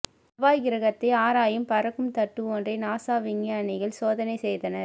செவ்வாய் கிரகத்தை ஆராயும் பறக்கும் தட்டு ஒன்றை நாசா விஞ்ஞானிகள் சோதனை செய்தனர்